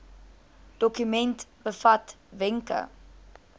dokument bevat wenke